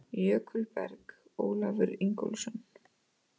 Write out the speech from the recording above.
Jökulberg: Ólafur Ingólfsson.